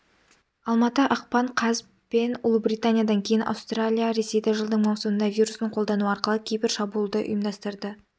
алматы ақпан қаз пен ұлыбританиядан кейін аустралия ресейді жылдың маусымында вирусын қолдану арқылы кибер шабуылды ұйымдастырды